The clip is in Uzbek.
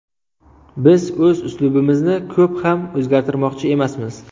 Biz o‘z uslubimizni ko‘p ham o‘zgartirmoqchi emasmiz.